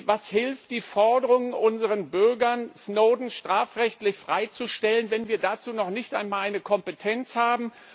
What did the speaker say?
Was hilft die Forderung unseren Bürgern, Snowden strafrechtlich freizustellen, wenn wir dazu noch nicht einmal eine Kompetenz haben?